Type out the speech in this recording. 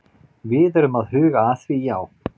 Við erum að huga að því, já.